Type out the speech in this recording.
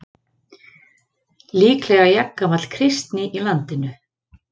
Líklega jafngamall kristni í landinu.